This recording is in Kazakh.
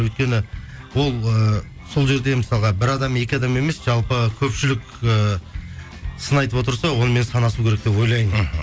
өйткені ол ыыы сол жерде мысалға бір адам екі адам емес жалпы көпшілік ыыы сын айтып отырса онымен санасу керек деп ойлаймын мхм